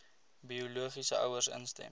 biologiese ouers instem